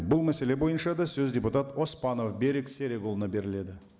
бұл мәселе бойынша да сөз депутат оспанов берік серікұлына беріледі